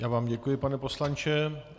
Já vám děkuji, pane poslanče.